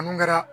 Mun kɛra